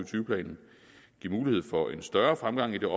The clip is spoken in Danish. tyve planen give mulighed for en større fremgang i det